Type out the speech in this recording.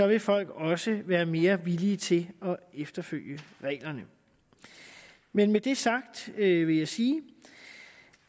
vil folk også være mere villige til at følge reglerne med dette sagt vil jeg sige